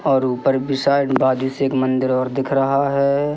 और ऊपर भी साइड बाजू से एक मंदिर और दिख रहा हैं।